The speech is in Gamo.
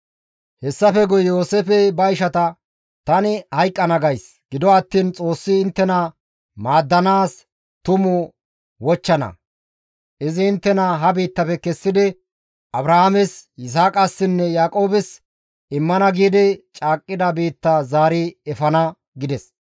Hessafe guye Yooseefey ba ishata, «Tani hayqqana gays; gido attiin Xoossi inttena maaddanaas tumu wochchana; izi inttena ha biittafe kessidi Abrahaames, Yisaaqassinne Yaaqoobes immana giidi caaqqida biittaa zaari efana» gides.